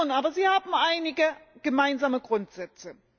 Aber sie haben einige gemeinsame Grundsätze.